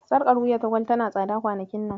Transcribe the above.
Sarƙar wuya ta Gwal tana tsada kwanakin nan.